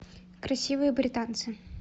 красивые британцы